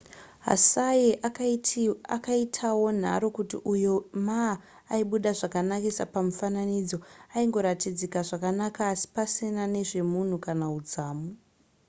hsieh akaitawonharo kuti uyo ma aibuda zvakanakisa pamifananidzo aingoratidzika zvakanaka asi pasina nezvemunhu kana udzamu